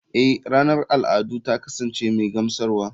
Eh ranar al'adu ta kasance mai gamsarwa.